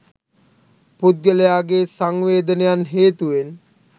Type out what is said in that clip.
පුද්ගලයාගේ සංවේදනයන් හේතුවෙන්